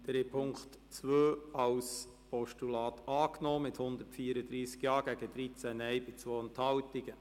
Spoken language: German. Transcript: Sie haben den Punkt 2 als Postulat angenommen mit 134 Ja- gegen 13 Nein-Stimmen bei 2 Enthaltungen.